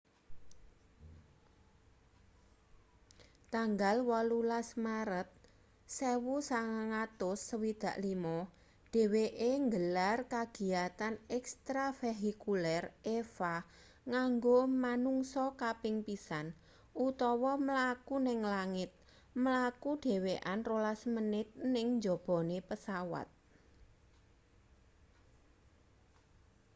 tanggal 18 maret 1965 dheweke nggelar kagiyatan ekstravehikuler eva nganggo manungsa kaping pisan utawa mlaku ning langit” mlaku dhewekan rolas menit ning njabane pesawat